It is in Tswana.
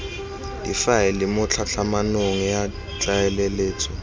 difaele mo tlhatlhamanong ya tlaleletso